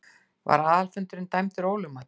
Var aðalfundurinn dæmdur ólögmætur.